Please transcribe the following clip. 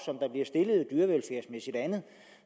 andet